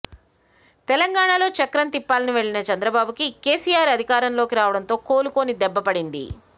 తెలంగాణలో చక్రం తిప్పాలని వెళ్ళిన చంద్రబాబు కి కేసీఆర్ అధికారంలోకి రావడంతో కోలుకొని దెబ్బ పడింది